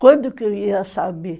Quando que eu ia saber?